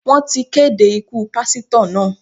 Wọ́n ti kéde ikú Pásítọ̀ náà.